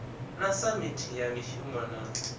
na samithi ya mishumo na